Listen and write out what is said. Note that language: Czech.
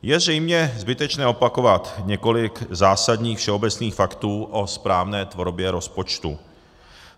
Je zřejmě zbytečné opakovat několik zásadních všeobecných faktů o správné tvorbě rozpočtu.